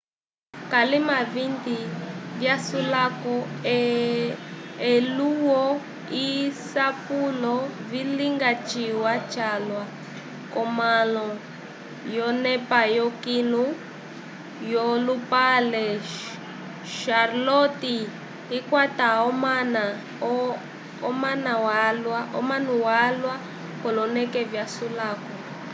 kalima 20 vyasulako elulwo lyasapulo vilinga ciwa calwa k'omãla yonepa yokilu yolupale charlotte ikwata omana valwa k'oloneke vyasulako